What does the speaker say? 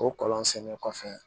O kɔlɔn sennen kɔfɛ